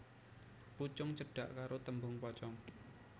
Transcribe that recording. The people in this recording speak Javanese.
Pucung cedhak karo tembung pocong